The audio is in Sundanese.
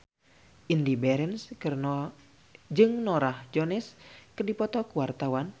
Indy Barens jeung Norah Jones keur dipoto ku wartawan